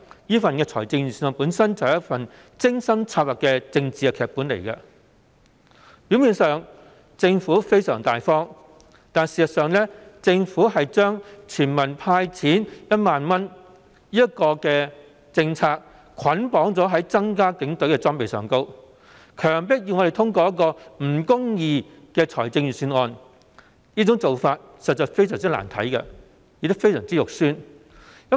這份預算案本身便是一份精心策劃的政治劇本，政府在表面上相當大方，事實上卻把全民"派錢 "1 萬元的政策捆綁在增加警隊裝備的開支上，以強迫我們通過這份不公義的預算案，做法實在相當難看，亦相當醜陋。